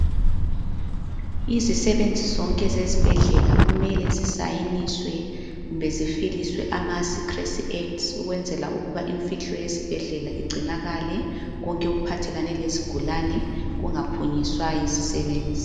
Izisebenzi zonke zezibhedlela kumele zisayiniswe kumbe zifiliswe ama secrecy acts, ukwenzela ukuthi imfihlo yesibhedlela igcinakale, konke okuphathelane lezigulane kungaphunyiswa yizisebenzi.